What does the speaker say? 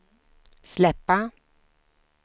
släppa